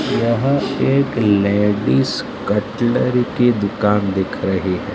यह एक ladies cutler की दुकान दिख रही है।